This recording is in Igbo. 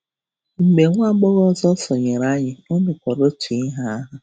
Mgbe nwa agbọghọ ọzọ sonyeere anyị, o mekwara ya otu ihe ahụ.